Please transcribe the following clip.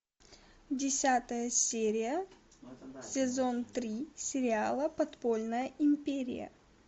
десятая серия сезон три сериала подпольная империя